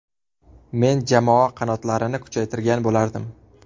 Men jamoa qanotlarini kuchaytirgan bo‘lardim.